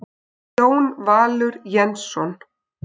Jón Valur Jensson